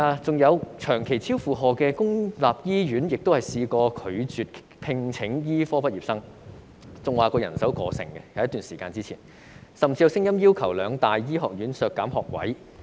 此外，長期超負荷的公立醫院亦曾拒絕聘請醫科畢業生，有一段時間表示人手過剩，甚至有聲音要求兩大醫學院削減學位。